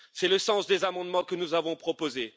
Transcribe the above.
C'est le sens des amendements que nous avons proposés.